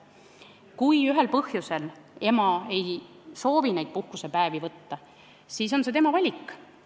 Kui ema ühel või teisel põhjusel ei soovi neid puhkusepäevi välja võtta, siis on see tema valik.